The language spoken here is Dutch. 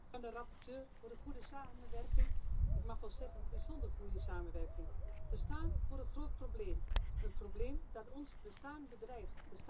Voorzitter, ik dank de rapporteur voor de goede samenwerking, ik mag wel zeggen een bijzonder goede samenwerking. We staan voor een groot probleem, een probleem dat ons bestaan bedreigt.